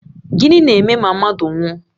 Gịnị na-eme ma mmadụ nwụọ?